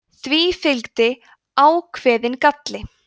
því fylgdi ákveðinn galli